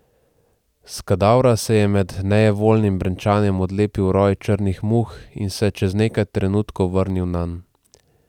S kadavra se je med nejevoljnim brenčanjem odlepil roj črnih muh in se čez nekaj trenutkov vrnil nanj.